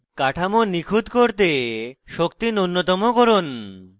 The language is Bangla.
কাঠামো নিখুত করতে শক্তি নুন্যতম করুন